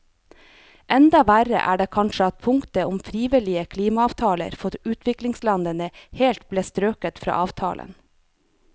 Enda verre er det kanskje at punktet om frivillige klimaavtaler for utviklingslandene helt ble strøket fra avtalen.